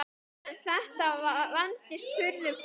En þetta vandist furðu fljótt.